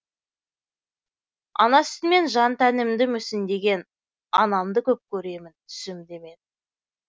ана сүтімен жан тәнімді мүсіндеген анамды көп көремін түсімде мен